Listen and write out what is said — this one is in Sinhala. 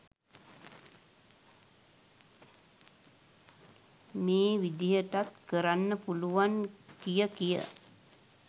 මේ විදිහටත් කරන්න පුළුවන් කිය කිය